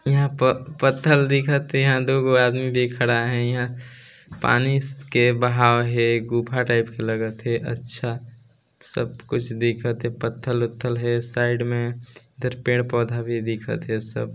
इहा पत्थर दिख हे इहा दो गो आदमी भी खड़ा है इहा इहा पानी के बहाव हे गुफा टाइप के लगत हे अच्छा सब कुछ दिखत हे पत्थल वत्थल हे साइड में इधर पेड़-पौधे भी दिखत हे अउ सब--